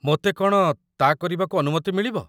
ମୋତେ କ'ଣ ତା' କରିବାକୁ ଅନୁମତି ମିଳିବ?